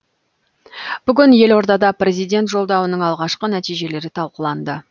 бүгін елордада президент жолдауының алғашқы нәтижелері талқыланды